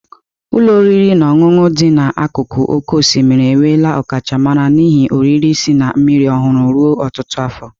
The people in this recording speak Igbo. Ụlọ oriri na ọṅụṅụ ndị dị n'akụkụ oké osimiri enwela ọkachamara n'ihe oriri si na mmiri ọhụrụ ruo ọtụtụ afọ.